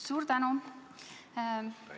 Suur tänu!